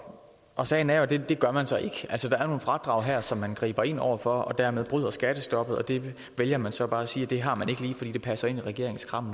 og sagen er jo den at det gør man så ikke altså der er nogle fradrag her som man griber ind over for og dermed bryder man skattestoppet og der vælger man så bare at sige at det fradrag har man ikke lige fordi det passer ind i regeringens kram